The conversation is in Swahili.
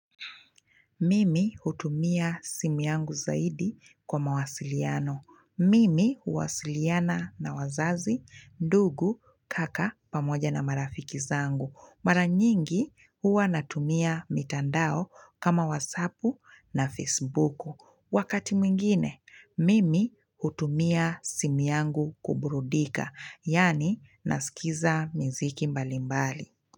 Mimi hutumia simi yangu zaidi kwa mawasiliano. Mimi huwasiliana na wazazi, ndugu, kaka, pamoja na marafiki zangu. Mara nyingi huwa natumia mitandao kama whatsapu na facebuku. Wakati mwingine, mimi hutumia simu yangu kuburudika, yaani naskiza miziki mbalimbali.